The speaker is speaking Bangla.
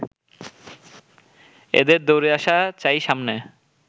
এদের দৌড়ে আসা চাই সামনে